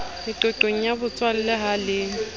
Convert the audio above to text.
meqoqong ya botswalle ha le